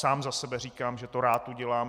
Sám za sebe říkám, že to rád udělám.